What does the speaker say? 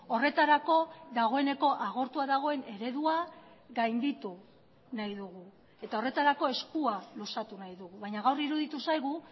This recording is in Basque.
horretarako dagoeneko agortua dagoen eredua gainditu nahi dugu eta horretarako eskua luzatu nahi dugu baina gaur iruditu zaigu